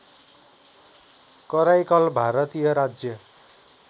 कराइकल भारतीय राज्य